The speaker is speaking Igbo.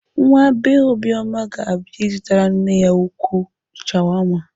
Nwa bee Obioma ga-abịa ịzụtara nne ya ukwuu shawama.